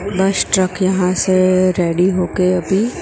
बस ट्रक यहां से रेडी हो के अभी--